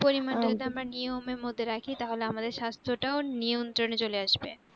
পরিমান যদি আহ আমরা নিয়মের মধ্যে রাখি তাহলে আমাদের স্বাস্থ টাও নিয়ন্ত্রণে চলে আসবে